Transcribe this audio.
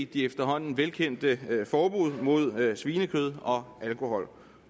de efterhånden velkendte forbud mod svinekød og alkohol